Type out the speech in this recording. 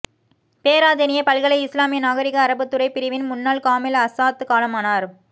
பேராதெனிய பல்கலை இஸ்லாமிய நாகரீக அரபுத்துறை பிரிவின் முன்னால் காமில் ஆஸாத் காலமானார்